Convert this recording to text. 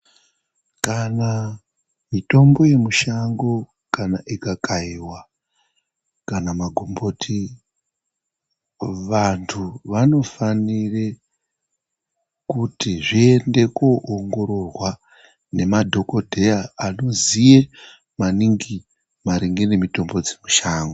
Kana mitombo yemushango kana ikakaiwa kana magomboti, vantu vanofanire kuti zviende koongororwa ngemadhogodheya anoziye maningi maringe nemitombo dzemushango.